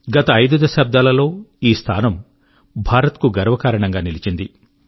గత ఐదు దశాబ్దాల లో ఈ స్థానం భారత్ కు గర్వకారణం గా నిలిచింది